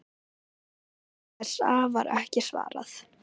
Bréfi ESA var ekki svarað.